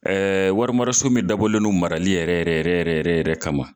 warimaraso min dabɔlen don marali yɛrɛ yɛrɛ yɛrɛ yɛrɛ yɛrɛ kama.